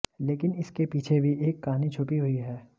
लेकिन इसके पीछे भी एक कहानी छुपी हुई हैं